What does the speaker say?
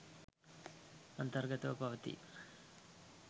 අන්තර්ගතව පවතී.